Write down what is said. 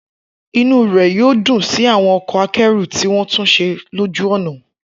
Inú rẹ̀ yóò dùn sí àwọn ọkọ̀ akẹ́rù tí wọ́n tún ṣe lójú ọ̀nà.